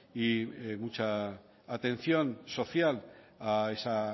y mucha atención social a esa